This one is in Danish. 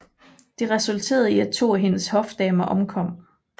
Det resulterede i at to af hendes hofdamer omkom